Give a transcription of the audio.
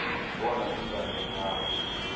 bona iimbawo zawo